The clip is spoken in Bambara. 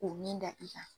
K'u min da i kan